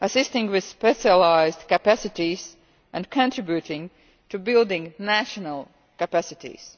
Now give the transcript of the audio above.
assisting with specialised capacities and contributing to building national capacities.